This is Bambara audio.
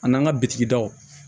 A n'an ka bitigi dɔw